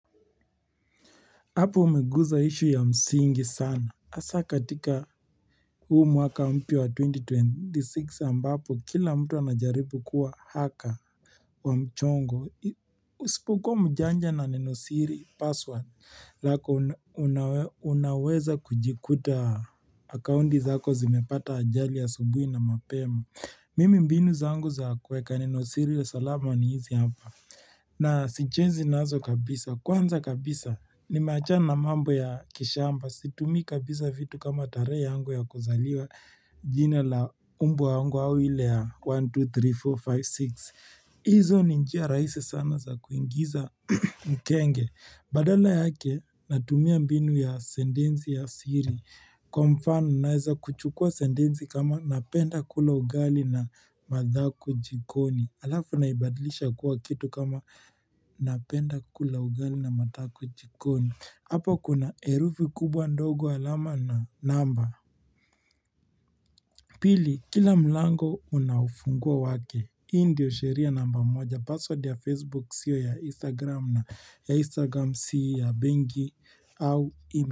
Hapo umeguza issue ya msingi sana hasa katika huu mwaka mpya wa 2026 ambapo kila mtu anajaribu kuwa hacker wa mchongo Usipokuwa mjanja na nenosiri password lako unaweza kujikuta accounti zako zimepata ajali asubuhi na mapema Mimi mbinu zangu za kuweka nenosiri salama ni hizi hapa na sichezi nazo kabisa, kwanza kabisa nimeachana na mambo ya kishamba, situmii kabisa vitu kama tarehe yangu ya kuzaliwa jina la umbwa yangu au ile ya 1, 2, 3, 4, 5, 6 hizo ni njia rahisi sana za kuingiza mkenge, badala yake natumia mbinu ya sentensi ya siri Kwa mfano naeza kuchukua sentensi kama napenda kula ugali na madhako jikoni Alafu unaibadlisha kuwa kitu kama napenda kula ugali na madhako jikoni Hapo kuna herufi kubwa ndogo alama na namba Pili, kila mlango una ufunguo wake hii ndio sheria namba moja password ya facebook sio ya instagram na ya instagram si ya benki au ime.